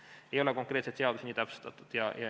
Seda ei ole konkreetselt seaduses täpsustatud.